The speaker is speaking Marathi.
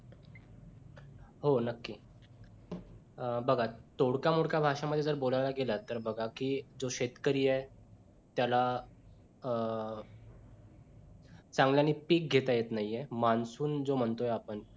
हो नक्की अं बघा तोडक्या मोडक्या भाषे मध्ये जर बोलायला गेलात तर बघा की तो शेतकरी आहे त्याला अं सांगणिक पीक घेता येत नाही मान्सून जो म्हणतोय आपण